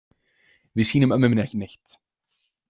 Við sýnum ömmu minni ekki neitt.